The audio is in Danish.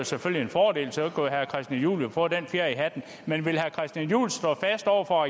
selvfølgelig en fordel så kunne herre christian juhl jo få den fjer i hatten men vil herre christian juhl stå fast over for